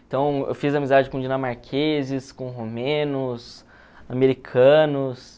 Então, eu fiz amizade com dinamarqueses, com romenos, americanos.